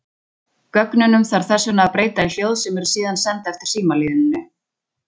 Gögnunum þarf þess vegna að breyta í hljóð sem eru síðan send eftir símalínunni.